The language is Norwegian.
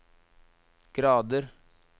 grader